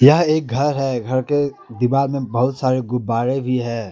यह एक घर है घर के दीवाल में बहुत सारे गुब्बारे भी है।